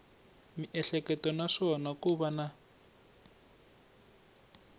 miehleketo naswona ko va na